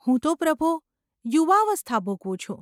‘હું તો, પ્રભો ! યુવાવસ્થા ભોગવું છું.